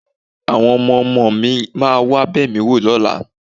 Àwọn ọmọ-ọmọ mi máa wá bẹ̀ mí wò lọ́la